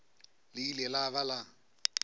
le ile la ba la